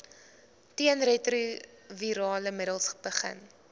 teenretrovirale middels begin